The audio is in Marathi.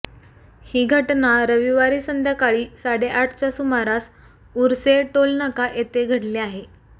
ही घटना रविवारी संध्याकाळी साडेआठच्या सुमारास उर्से टोल नाका येथे घडली आहे